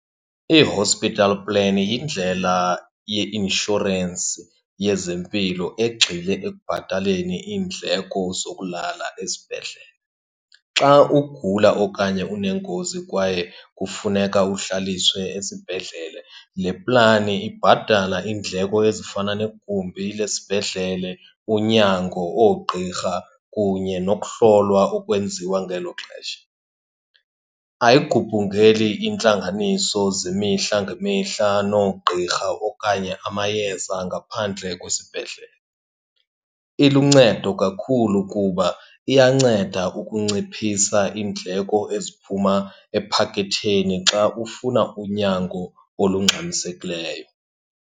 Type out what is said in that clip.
I-hospital plan yindlela yeinshorensi yezempilo egxile ekubhataleni iindleko zokulala esibhedlele. Xa ugula okanye unengozi kwaye kufuneka uhlaliswe esibhedlele, le plani ibhatala iindleko ezifana negumbi lesibhedlele, unyango, oogqirha, kunye nokuhlolwa okwenziwa ngelo xesha. Ayigubungeli iintlanganiso zemihla ngemihla noogqirha okanye amayeza ngaphandle kwesibhedlele. Iluncedo kakhulu kuba iyanceda ukunciphisa iindleko eziphuma ephaketheni xa ufuna unyango olungxamisekileyo.